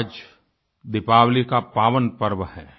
आज दीपावली का पावन पर्व है